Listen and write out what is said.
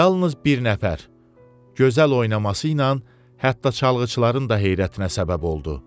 Yalnız bir nəfər gözəl oynaması ilə hətta çalğıçıların da heyrətinə səbəb oldu.